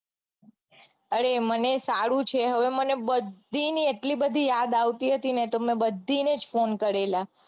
અરે મને સારું છે હવે મને બધીની એટલી બધી યાદ આવતી હતી ને તો તમને બાંધીને જ phone કરેલા